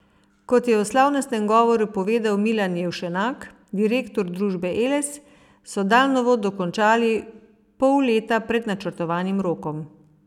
Kot je v slavnostnem govoru povedal Milan Jevšenak, direktor družbe Eles, so daljnovod dokončali pol leta pred načrtovanim rokom.